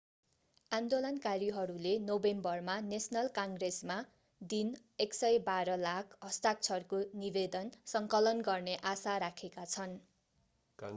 आन्दोलनकारीहरूले नोभेम्बरमा नेशनल काङ्ग्रेसमा दिन 112 लाख हस्ताक्षरको निवेदन सङ्कलन गर्ने आशा राखेका छन्